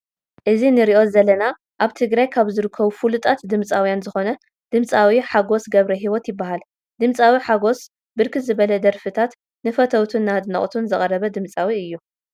እዚ ንሪኦ ዘለና አብ ትግራይ ካብ ዝርከቡ ፉሉጣት ድምፂዊያን ዝኮነ ድምፃዊ ሓጎስ ገብረሂወት ይበሃል። ድምፃዊ ሓጎስ ብርክት ዝበለ ደርፍታት ንፈተዉቱን ንአድነቅቱን ዘቅረበ ድምፃዊ እዩ።